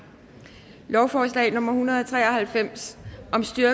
lovforslag nummer hundrede og tre og halvfems